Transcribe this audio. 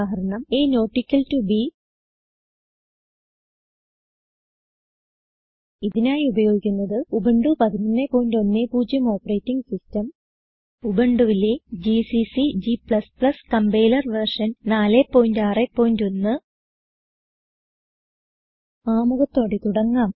ഉദാഹരണം160a160 b ഇതിനായി ഉപയോഗിക്കുന്നത് Ubuntu 1110 operating system ഉബുണ്ടുവിലെ ജിസിസി g കമ്പൈലർ വെർഷൻ 461 ആമുഖത്തോടെ തുടങ്ങാം